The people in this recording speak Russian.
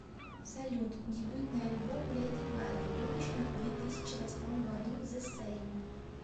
салют дебютный альбом леди гаги выпущенный в две тысячи восьмом году зе сейм